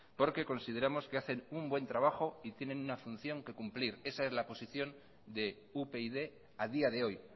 porque consideramos que hacen un buen trabajo y tienen una función que cumplir esa es la posición de upyd a día de hoy